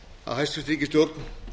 að hæstvirt ríkisstjórn